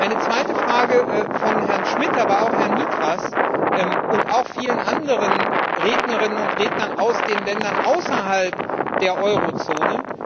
Eine zweite Frage kam von Herrn Schmidt, aber auch von Herrn Nitras und von vielen anderen Rednerinnen und Rednern aus den Ländern außerhalb der Eurozone.